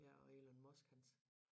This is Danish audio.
Ja og Elon Musk hans